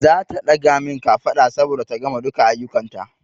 Zata ɗaga min kafada saboda ta gama duka aiyukan ta